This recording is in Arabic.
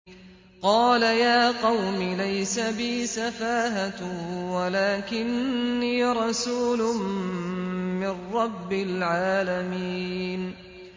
قَالَ يَا قَوْمِ لَيْسَ بِي سَفَاهَةٌ وَلَٰكِنِّي رَسُولٌ مِّن رَّبِّ الْعَالَمِينَ